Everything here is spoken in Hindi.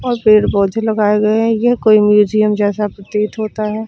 और पेड़ पौधे लगाए गए हैं ये कोई म्यूजियम जैसा प्रतीत होता है।